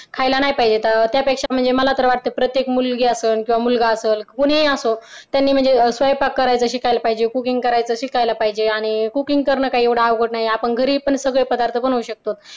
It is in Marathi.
खायला नाही पाहिजे तर त्यापेक्षा मला तर वाटतं की प्रत्येक मुलगी असेल किंवा मुलगा असेल कोणीही असो त्याने म्हणजे स्वयंपाक करायची शिकायला पाहिजे cooking करायचं शिकायला पाहिजे आणि cooking करणे काही अवघड नाही आपण घरी पण सगळेच पदार्थ बनवू शकतो.